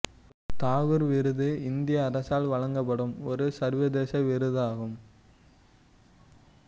தாகூர் விருது இந்திய அரசால் வழங்கப்படும் ஒரு சர்வதேச விருதாகும்